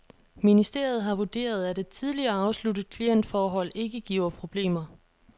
Ministeriet har vurderet, at et tidligere afsluttet klientforhold ikke giver problemer.